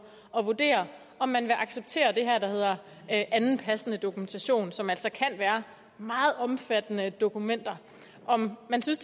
at vurdere om man vil acceptere det her der hedder anden passende dokumentation som altså kan være meget omfattende dokumenter og om man synes